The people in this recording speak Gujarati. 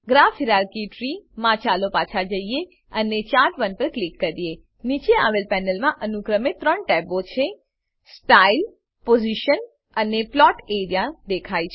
ગ્રાફ હાયરાર્કી ત્રી માં ચાલો પાછા જઈએ અને ચાર્ટ1 પર ક્લિક કરીએ નીચે આવેલ પેનલમાં અનુક્રમે ત્રણ ટેબો સ્ટાઇલ પોઝિશન અને પ્લોટ એઆરઇએ દેખાય છે